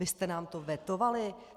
Vy jste nám to vetovali.